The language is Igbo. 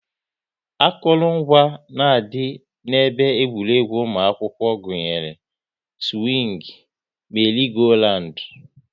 Akụrụngwa na-adị n'ebe egwuregwu ụmụ akwụkwọ gụnyere; siwing, meri-go-randu